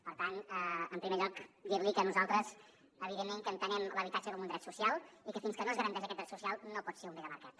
per tant en primer lloc dir li que nosaltres evidentment entenem l’habitatge com un dret social i que fins que no es garanteix aquest dret social no pot ser un bé de mercat